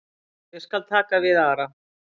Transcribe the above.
Ég skal taka við Ara.